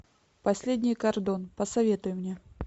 последний кардон посоветуй мне